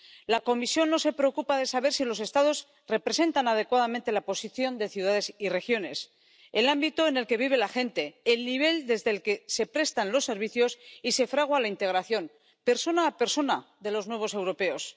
La Comisión no se preocupa de saber si los Estados representan adecuadamente la posición de ciudades y regiones, el ámbito en el que vive la gente, el nivel desde el que se prestan los servicios y se fragua la integración, persona a persona, de los nuevos europeos.